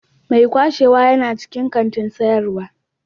Mai kwashewa yana cikin kantin sayarwa.